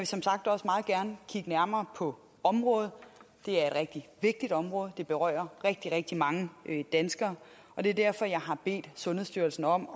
som sagt også meget gerne kigge nærmere på området det er et rigtig vigtigt område det berører rigtig rigtig mange danskere og det er derfor jeg har bedt sundhedsstyrelsen om